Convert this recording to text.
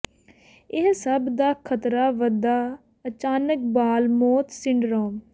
ਇਹ ਸਭ ਦਾ ਖਤਰਾ ਵਧਾ ਅਚਾਨਕ ਬਾਲ ਮੌਤ ਸਿੰਡਰੋਮ